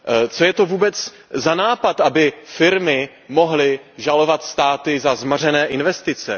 Co je to vůbec za nápad, aby firmy mohly žalovat státy za zmařené investice?